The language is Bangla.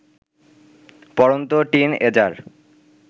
পড়ন্ত টিন এজার